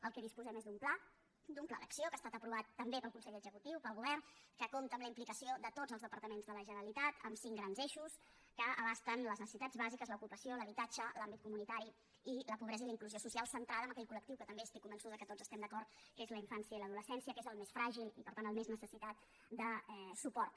del que disposem és d’un pla d’un pla d’acció que ha estat aprovat també pel consell executiu pel govern que compta amb la implicació de tots els departaments de la generalitat amb cinc grans eixos que abasten les necessitats bàsiques l’ocupació l’habitatge l’àmbit comunitari la pobresa i la inclusió social centrada en aquell col·lectiu que també estic convençuda que tots estem d’acord que és la infància i l’adolescència que és el més fràgil i per tant el més necessitat de suport